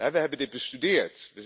We hebben dit bestudeerd.